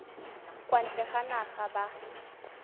kwa ntle ga naga ba